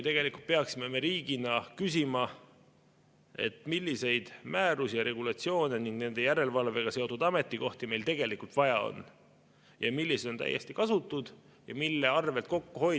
Tegelikult peaksime me riigina küsima, milliseid määrusi ja regulatsioone ning nende järelevalvega seotud ametikohti meil tegelikult vaja on, millised on täiesti kasutud ja mille arvel saaks kokku hoida.